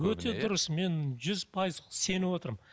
өте дұрыс мен жүз пайыз сеніп отырмын